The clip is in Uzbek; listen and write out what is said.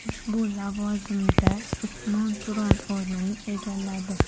U ushbu lavozimda Usmon Turon o‘rnini egalladi.